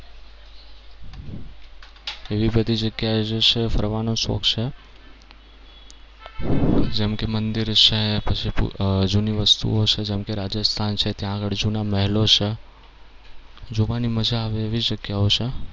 એવી બધી જગ્યાએ જે છે એ ફરવાનો શોખ છે. જેમ કે મંદિર છે પછી જૂની વસ્તુઓ છે જેમ કે રાજસ્થાન છે ત્યાં આગળ જૂના મહેલો છે. જોવાની મજા આવે એવી જગ્યાઓ છે.